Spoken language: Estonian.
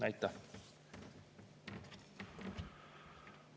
Aitäh!